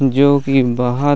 जो की बहोत